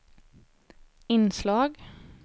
inslag